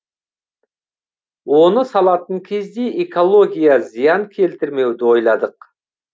оны салатын кезде экология зиян келтірмеуді ойладық